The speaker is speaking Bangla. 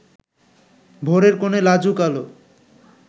ভোরের কোণে লাজুক আলো